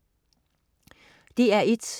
DR1: